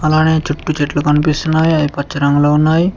అలాగే చుట్టు చెట్లు కనిపిస్తున్నాయి అవి పచ్చ రంగులో ఉన్నాయి.